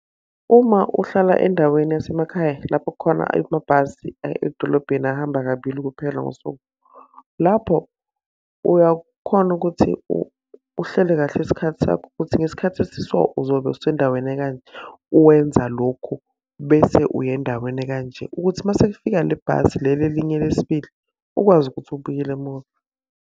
Uma uhlala endaweni yasemakhaya lapho kukhona amabhasi aye edolobheni ahamba kabili kuphela ngasuku. Lapho uyakhona ukuthi uhlele kahle isikhathi sakho ukuthi ngesikhathi esi so uzobe usendaweni eka nje. Uwenza lokhu, bese uya endaweni eka nje, ukuthi uma sekufika le bhasi leli elinye lesibili, ukwazi ukuthi ubuyele emuva.